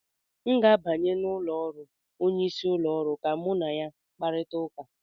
M ga-abanye n'ụlọ ọrụ onyeisi ụlọ ọrụ ka mụ na ya kparịta ụka